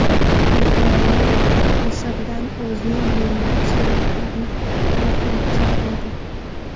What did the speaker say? Britaniya Misrdan o‘zining minglab sayyohlarini evakuatsiya qiladi.